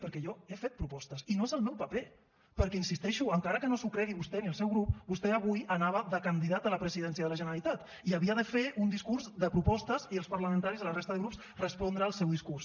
perquè jo he fet propostes i no és el meu paper perquè hi insisteixo encara que no s’ho cregui vostè ni el seu grup vostè avui anava de candidat a la presidència de la generalitat i havia de fer un discurs de propostes i els parlamentaris i la resta de grups respondre al seu discurs